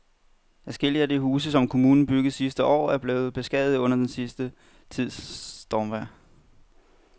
Adskillige af de huse, som kommunen byggede sidste år, er blevet beskadiget under den sidste tids stormvejr.